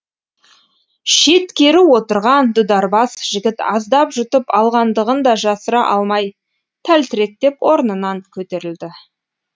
шеткері отырған дударбас жігіт аздап жұтып алғандығын да жасыра алмай тәлтіректеп орнынан көтерілді